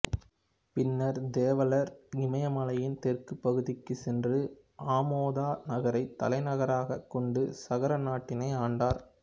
பின்னர் தேவலர் இமயமலையின் தெற்கு பகுதிக்கு சென்று ஆமோத நகரை தலைநகராக கொண்டு சகர நாட்டினை ஆண்டார்